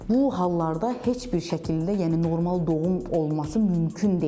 Bu hallarda heç bir şəkildə, yəni normal doğum olması mümkün deyil.